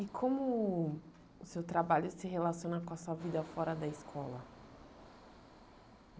E como o seu trabalho se relaciona com a sua vida fora da escola?